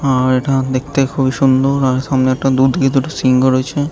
আ ইটা দেখতে খুবই সুন্দর সামনে ।